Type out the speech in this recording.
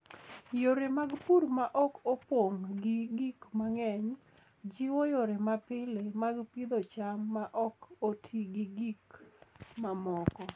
Yore mag pur ma ok opong' gi gik mang'eny, jiwo yore mapile mag pidho cham ma ok oti gi gik mamoko.